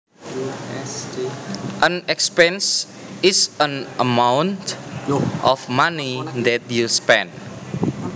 An expense is an amount of money that you spend